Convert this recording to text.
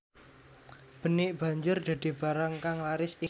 Benik banjur dadi barang kang laris ing pasaran